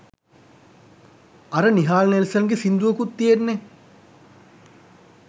අර නිහාල් නෙල්සන් ගේ සින්දුවකුත් තියෙන්නේ!